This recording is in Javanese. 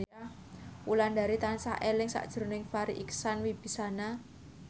Wulandari tansah eling sakjroning Farri Icksan Wibisana